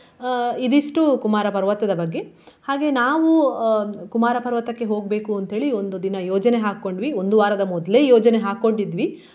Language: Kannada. ಅಹ್ ಇದಿಷ್ಟು ಕುಮಾರ ಪರ್ವತದ ಬಗ್ಗೆ. ಹಾಗೆ ನಾವು ಅಹ್ ಕುಮಾರ ಪರ್ವತಕ್ಕೆ ಹೋಗ್ಬೇಕು ಅಂತೇಳಿ ಒಂದು ದಿನ ಯೋಜನೆ ಹಾಕ್ಕೊಂಡ್ವಿ ಒಂದು ವಾರದ ಮೊದ್ಲೇ ಯೋಜನೆ ಹಾಕ್ಕೊಂಡಿದ್ವಿ.